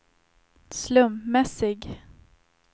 slumpmässig